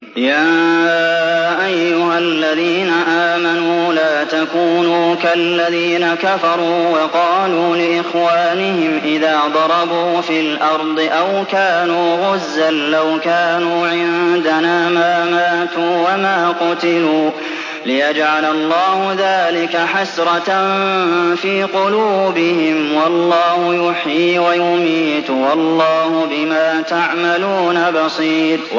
يَا أَيُّهَا الَّذِينَ آمَنُوا لَا تَكُونُوا كَالَّذِينَ كَفَرُوا وَقَالُوا لِإِخْوَانِهِمْ إِذَا ضَرَبُوا فِي الْأَرْضِ أَوْ كَانُوا غُزًّى لَّوْ كَانُوا عِندَنَا مَا مَاتُوا وَمَا قُتِلُوا لِيَجْعَلَ اللَّهُ ذَٰلِكَ حَسْرَةً فِي قُلُوبِهِمْ ۗ وَاللَّهُ يُحْيِي وَيُمِيتُ ۗ وَاللَّهُ بِمَا تَعْمَلُونَ بَصِيرٌ